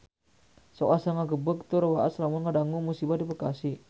Sok asa ngagebeg tur waas lamun ngadangu musibah di Bekasi